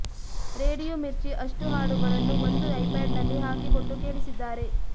radio Mirchi ಅಷ್ಟೂ ಹಾಡುಗಳನ್ನು ಒಂದು ಐಪಾಡ್ನಲ್ಲಿ ಹಾಕಿ ಕೊಟ್ಟು ಕೇಳಿಸಿದ್ದಾರೆ